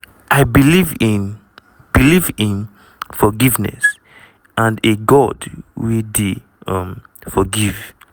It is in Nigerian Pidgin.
"i believe in believe in forgiveness and a god wey dey um forgive.